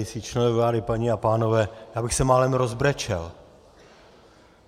Členové vlády, paní a pánové, já bych se málem rozbrečel.